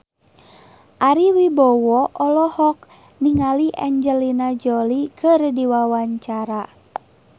Ari Wibowo olohok ningali Angelina Jolie keur diwawancara